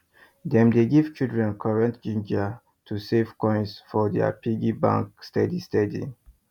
dem dey give children correct ginger to save coins for their piggy bank steady steady